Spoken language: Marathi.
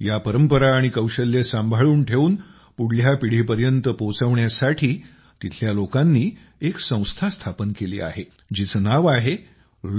या परंपरा आणि कौशल्य सांभाळून ठेवून पुढ्ल्या पिढीसाठी पोहचवण्यासाठी तिथल्या लोकांनी एक संस्था स्थापन केली आहे जिचं नाव आहे